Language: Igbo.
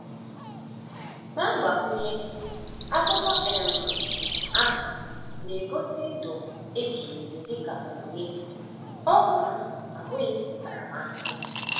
Na mgbakwunye, akụkọ um ahụ na-egosi ndụ ebighị ebi dị ka onyinye, ọ um bụghị ntaramahụhụ.